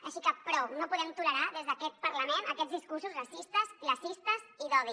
així que prou no podem tolerar des d’aquest parlament aquests discursos racistes classistes i d’odi